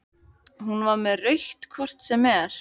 Hún var með rautt hvort sem er.